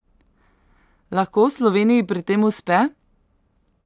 Lahko Sloveniji pri tem uspe?